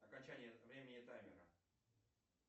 окончание времени таймера